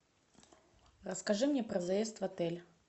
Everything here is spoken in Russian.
расскажи мне про заезд в отель